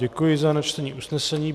Děkuji za načtení usnesení.